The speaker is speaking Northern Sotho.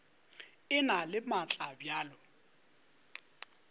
e na le maatla bjalo